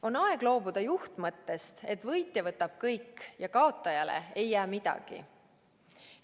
On aeg loobuda juhtmõttest, et võitja võtab kõik ja kaotajale ei jää midagi.